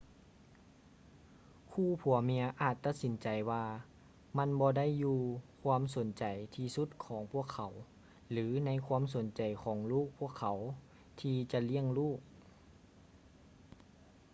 ຄູ່ຜົວເມຍອາດຕັດສິນໃຈວ່າມັນບໍ່ໄດ້ຢູ່ຄວາມສົນໃຈທີ່ສຸດຂອງພວກເຂົາ ຫຼື ໃນຄວາມສົນໃຈຂອງລູກພວກເຂົາທີ່ຈະລ້ຽງລູກ